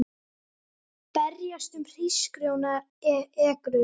Berjast um hrísgrjónaekru